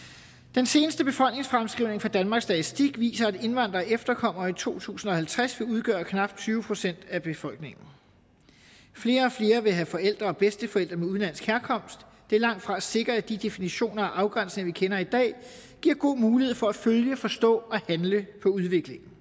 den seneste befolkningsfremskrivning fra danmarks statistik viser at indvandrere og efterkommere i to tusind og halvtreds vil udgøre knap tyve procent af befolkningen flere og flere vil have forældre og bedsteforældre med udenlandsk herkomst det er langtfra sikkert at de definitioner og afgrænsninger vi kender i dag giver god mulighed for at følge forstå og handle på udviklingen